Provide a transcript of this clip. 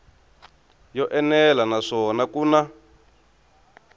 yo enela naswona ku na